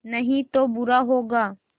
नहीं तो बुरा होगा